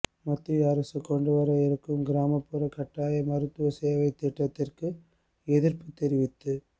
மத்திய அரசு கொண்டு வர இருக்கும் கிராமப் புறக் கட்டாய மருத்துவ சேவைத் திட்டத்துக்கு எதிர்ப்பு தெரிவித்து